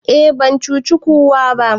e ban cuci kowa ba